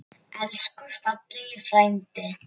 Elsku fallegi frændi.